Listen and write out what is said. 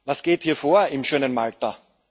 Was geht hier vor, im schönen Malta?,